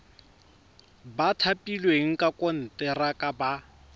ba thapilweng ka konteraka ba